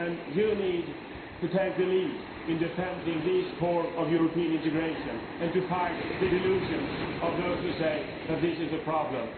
You need to take the lead in defending this core of European integration and fighting the delusions of those who say that this is a problem.